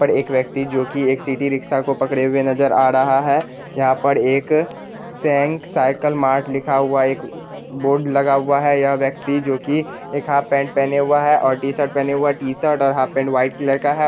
पर एक व्यक्ति जो की एक सीटी रिक्शा को पकड़े हुए नजर आ रहा है यहाँ पर एक साइकिल मार्ट लिखा हुआ एक बोर्ड लगा हुआ है यह व्यक्ति जो कि एक हाफ पैंट पेहेने हुआ है और टी-शर्ट पेहेने हुआ है टी-शर्ट और हाफ पैंट वाइट कलर का है।